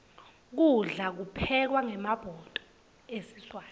kudla kuphekwa ngemabhudo esiswati